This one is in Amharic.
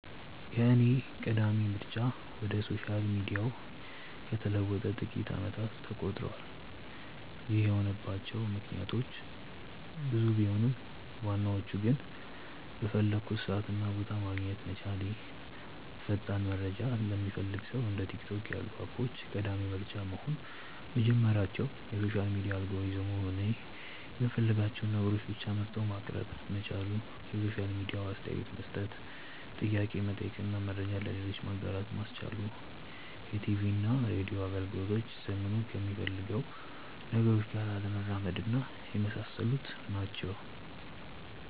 የኔ ቀዳሚ ምርጫ ወደ ሶሻል ሚዲያው ከተለወጠ ጥቂት አመታት ተቆጥረዋል። ይህ የሆነባቸው ምክንያቶች ብዙ ቢሆኑም ዋናዎቹ ግን:- በፈለኩበት ሰዓት እና ቦታ ማግኘት መቻሌ፣ ፈጣን መረጃ ለሚፈልግ ሰው እንደ ቲክቶክ ያሉ አፖች ቀዳሚ ምርጫ መሆን መጀመራቸው፣ የሶሻል ሚዲያ አልጎሪዝሙ እኔ የምፈልጋቸውን ነገሮች ብቻ መርጦ ማቅረብ መቻሉ፣ የሶሻል ሚዲያው አስተያየት መስጠት፣ ጥያቄ መጠየቅ እና መረጃውን ለሌሎች ማጋራት ማስቻሉ፣ የቲቪና ሬድዮ አገልግሎቶች ዘመኑ ከሚፈልጋቸው ነገሮች ጋር አለመራመድና የመሳሰሉት ናቸው።